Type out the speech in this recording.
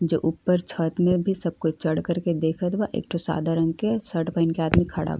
जो ऊपर छत में भी सब कोई चढ़ कर के देखत बा। एक ठो सादा रंग के शर्ट पहिन के आदमी खड़ा --